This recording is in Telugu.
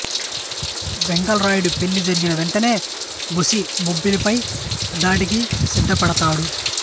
వెంగళరాయుడు పెళ్ళి జరిగిన వెంటనే బుస్సీ బొబ్బిలిపై దాడికి సిద్ధపడతాడు